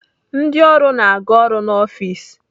Ndị ọrụ na-aga ọrụ n'ọfis.